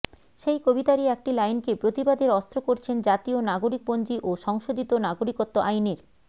সেই কবিতারই একটি লাইনকে প্রতিবাদের অস্ত্র করছেন জাতীয় নাগরিকপঞ্জি ও সংশোধিত নাগরিকত্ব আইনের